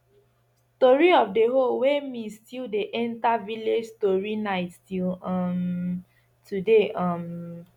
tori of the hoe wey miss dey enter every village story night till um today um